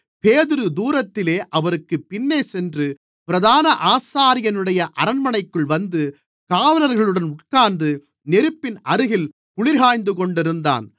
பேதுரு தூரத்திலே அவருக்குப் பின்னேசென்று பிரதான ஆசாரியனுடைய அரண்மனைக்குள் வந்து காவலர்களுடன் உட்கார்ந்து நெருப்பின் அருகில் குளிர்க்காய்ந்துகொண்டிருந்தான்